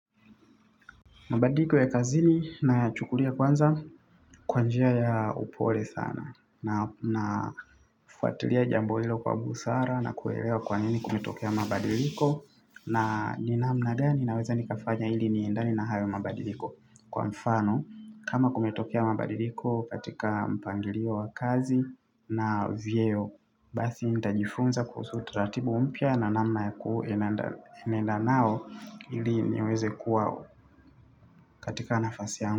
Mabadiliko ya kazini nachukulia kwanza kwa njia ya upole sana na fuatilia jambo hilo kwa busara na kuelewa kwa nini kumetokea mabadiliko na ni namna gani naweza nikafanya ili niendane na hayo mabadiliko kwa mfano kama kumetokea mabadiliko katika mpangilio wa kazi na vyeo. Basi nitajifunza kuhusu uturatibu mpya na namna ya kuu nenda nao ili niweze kuwa katika nafasi yangu.